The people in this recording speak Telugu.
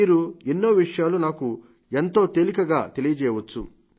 మీరు ఎన్నో విషయాలు నాకు ఎంతో తేలికగా తెలియజేయవచ్చు